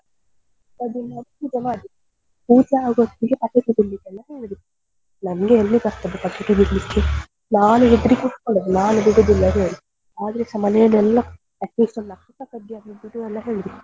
ಊಟ ಆಗೋಹೊತ್ತಿಗೆ ಪಟಾಕಿ ಬಿಡ್ಲಿಕ್ಕೆಲ್ಲ ಹೇಳಿದ್ರು ನಂಗೆ ಎಲ್ಲಿ ಬರ್ತದೆ ಪಟಾಕಿ ಬಿಡ್ಲಿಕ್ಕೆ ನಾನು ಹೆದ್ರಿ ಕುತ್ಕೊಂಡದ್ದು ನಾನು ಬಿಡುದಿಲ್ಲ ಅಂತ ಹೇಳಿ ಆದ್ರೂಸ ಮನೆಲೆಲ್ಲ at least ಒಂದು ನಕ್ಷತ್ರ ಕಡ್ಡಿ ಆದ್ರೂ ಬಿಡು ಅಂತ ಹೇಳಿದ್ರು.